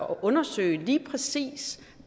undersøge lige præcis